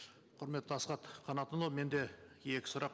құрметті асхат қанатұлы менде екі сұрақ